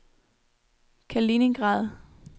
Kaliningrad